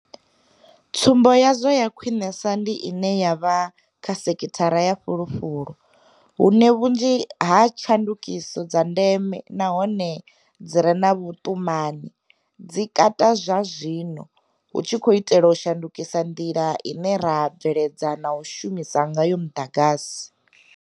Tsumbo yazwo ya khwinesa ndi ine ya vha kha sekhithara ya fulufulu, hune vhunzhi ha tshandukiso dza ndeme nahone dzi re na vhuṱumani dzi kati zwazwino hu tshi itelwa u shandukisa nḓila ine ra bveledza na u shumisa ngayo muḓagasi.